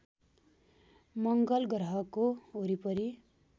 मङ्गल ग्रहको वरिपरि